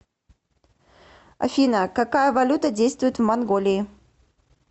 афина какая валюта действует в монголии